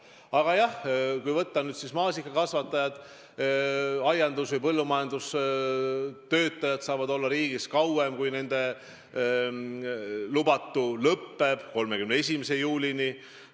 Aga jah, kui võtta maasikakasvatajad, siis aiandus- või põllumajandustöötajad saavad olla riigis kauem, kui nende luba lõpeb: 31. juulini.